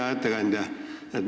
Hea ettekandja!